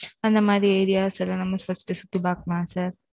அந்த மாதிரி areas எல்லாம், நம்ம first உஹ் சுத்தி பாக்கலாம் sir